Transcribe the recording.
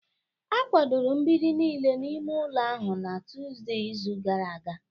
A kwadoro mgbidi niile n'ime ụlọ ahụ na Tọzdee izu gara aga